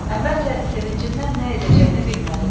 Əvvəlcə sevincindən nə edəcəyini bilmədi.